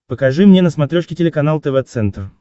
покажи мне на смотрешке телеканал тв центр